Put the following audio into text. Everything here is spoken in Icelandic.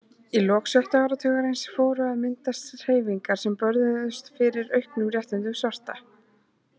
Í lok sjötta áratugarins fóru að myndast hreyfingar sem börðust fyrir auknum réttindum svartra.